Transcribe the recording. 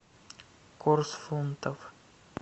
курс фунтов